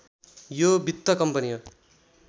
यो वित्त कम्पनी हो